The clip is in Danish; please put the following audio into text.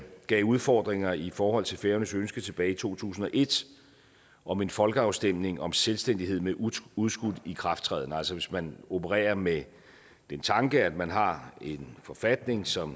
gav udfordringer i forhold til færøernes ønske tilbage i to tusind og et om en folkeafstemning om selvstændighed med udskudt udskudt ikrafttræden altså hvis man opererer med den tanke at man har en forfatning som